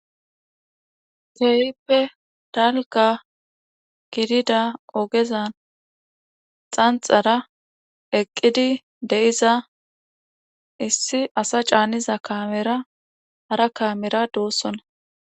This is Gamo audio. Keehippe dalgga gidida ogezan xanxxara eqqidi de7iza issi asa caaniza kaamera hara kaamera doosona.